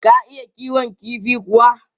Ka iya kiwon kifi kuwa?